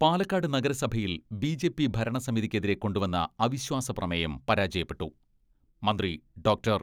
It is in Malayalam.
പാലക്കാട് നഗരസഭയിൽ ബി ജെ പി ഭരണസമിതിക്കെതിരെ കൊണ്ടുവന്ന അവിശ്വാസ പ്രമേയം പരാജയപ്പെട്ടു, മന്ത്രി ഡോക്ടർ